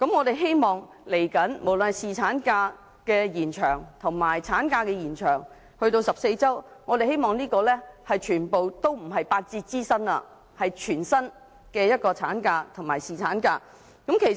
未來無論是延長侍產假還是延長產假至14周，我們希望都不是八折支薪，而是全薪的產假及侍產假。